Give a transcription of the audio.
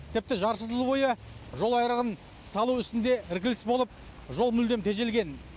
тіпті жарты жыл бойы жол айрығын салу ісінде іркіліс болып жол мүлдем тежелген